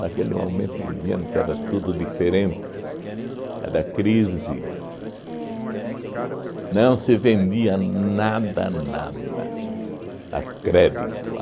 Naquele momento em diante era tudo diferente, era crise, não se vendia nada, nada a crédito.